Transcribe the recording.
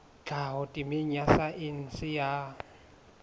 tlhaho temeng ya saense ya